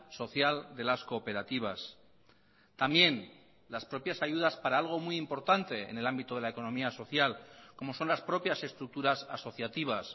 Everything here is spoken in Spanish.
social de las cooperativas también las propias ayudas para algo muy importante en el ámbito de la economía social como son las propias estructuras asociativas